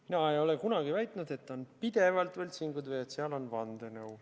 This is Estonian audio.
Mina ei ole kunagi väitnud, et on pidevalt võltsingud või et seal on vandenõu.